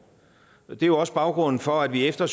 og det er også baggrunden for at vi efter